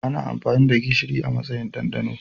Ana amfani da gishiri a matsayin dandano.